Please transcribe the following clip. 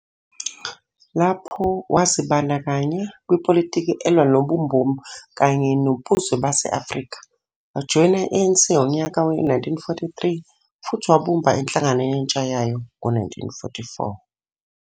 Lapho, wazibandakanya kwipolitiki elwa nobumboni kanye nobuzwe base-Afrika, wajoyina i-ANC ngonyaka we-1943 futhi wabumba iNhlangano Yentsha yayo ngo-1944.